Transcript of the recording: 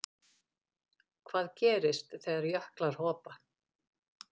Hvað gerist þegar jöklar hopa?